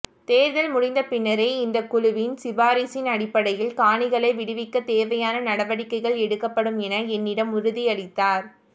தேர்தல் முடிந்த பின்னர் இந்தக் குழுவின் சிபாரிசின் அடிப்படையில் காணிகளை விடுவிக்கத் தேவையான நடவடிக்கைகள் எடுக்கப்படும் என என்னிடம் உறுதியளித்தார்